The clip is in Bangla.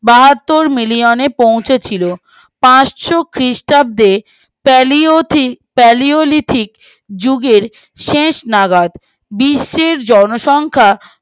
বাহাত্তর মিলিয়নে পৌঁছেছিল পার্সো খ্রিষ্টাব্দে সালিওলিথিক যুগে শেষ নাগাদ বিশ্বের জনসংখ্যা